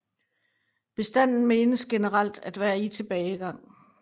Bestanden menes generelt at være i tilbagegang